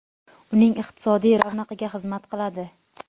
uning iqtisodiy ravnaqiga xizmat qiladi.